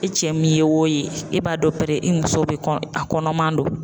E cɛ min ye wo ye e b'a dɔn pɛrɛ i muso be a kɔnɔman don.